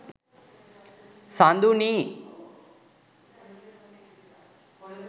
saduni